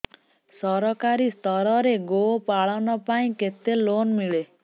ସରକାରୀ ସ୍ତରରେ ଗୋ ପାଳନ ପାଇଁ କେତେ ଲୋନ୍ ମିଳେ